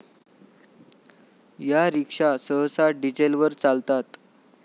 या रिक्षा सहसा डिझेलवर चालतात.